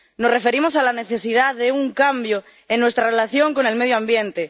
Nos referimos a la necesidad de un cambio en nuestra relación con el medio ambiente